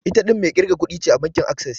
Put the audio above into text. Ita ɗin mai ƙirga kuɗin ce a bankin Access.